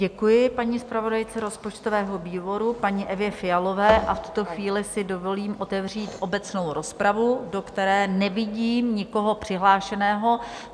Děkuji paní zpravodajce rozpočtového výboru, paní Evě Fialové, a v tuto chvíli si dovolím otevřít obecnou rozpravu, do které nevidím nikoho přihlášeného.